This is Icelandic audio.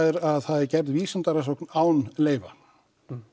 er að það er gerð vísindarannsókn án leyfa